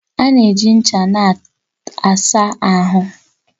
A na-eji ncha na-asa ahụ